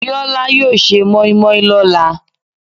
Bíọ́lá yóò se mọ́ímọ́í lọ́la.